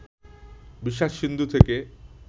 বিষাদ-সিন্ধু থেকে